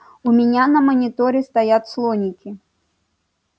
у меня на мониторе стоят слоники